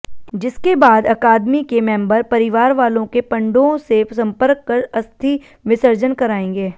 जिसके बाद अकादमी के मेंबर परिवार वालों के पंडों से संपर्क कर अस्थि विसर्जन कराएंगे